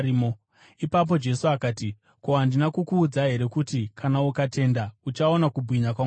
Ipapo Jesu akati, “Ko, handina kukuudza here kuti kana ukatenda, uchaona kubwinya kwaMwari?”